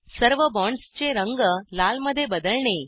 सर्व बॉन्ड्सचे रंग लाल मध्ये बदलणे